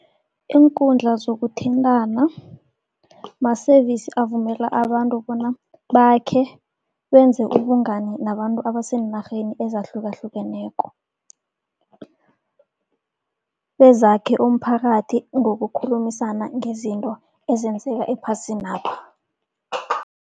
Iinkundla zokuthintana ma-service avumela abantu bona bakhe, benze ubungani nabantu abaseenarheni ezahlukahlukeneko. Bezakhe umphakathi ngokukhulumisana ngezinto ezenzeka ephasinapha.